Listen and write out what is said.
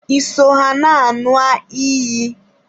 Ị so ha na nua iyi?